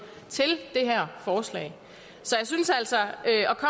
til det her forslag så jeg synes altså